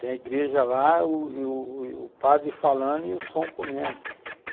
Tem a igreja lá, e u u u padre falando e o som comendo.